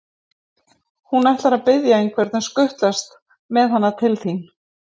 Hún ætlar að biðja einhvern að skutlast með hana til þín.